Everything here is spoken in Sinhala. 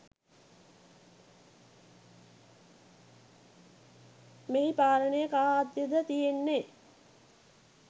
මෙහි පාලනය කා අතද තියෙන්නේ